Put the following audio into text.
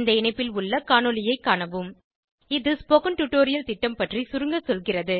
இந்த இணைப்பில் உள்ள காணொளியைக் காணவும் இது ஸ்போகன் டுடோரியல் திட்டம் பற்றி சுருங்க சொல்கிறது